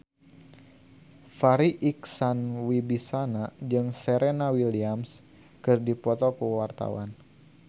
Farri Icksan Wibisana jeung Serena Williams keur dipoto ku wartawan